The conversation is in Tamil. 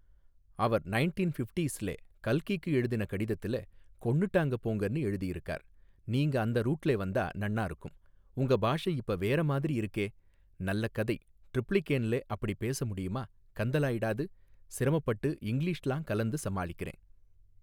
அவர் நைண்டீன் ஃபிஃப்டீஸ்லே கல்கிக்கு எழுதின கடிதத்துலே கொன்னுட்டாங்க போங்கன்னு எழுதியிருக்கார் நீங்க அந்த ரூட்லெ வந்தா நன்னாருக்கும் உங்க பாஷை இப்ப வேற மாதிரி இருக்கே நல்ல கதை ட்ரிப்ளிகேன்லே அப்டிப் பேச முடியுமா கந்தலாயிடாது சிரமப்பட்டு இங்க்ளீஷெல்லாம் கலந்து சமாளிக்கிறேன்.